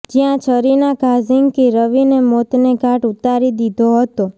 જ્યા છરીના ઘા ઝીંકી રવિને મોતને ઘાટ ઉતારી દીધો હતો